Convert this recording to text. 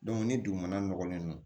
ni dugumana nɔgɔlen don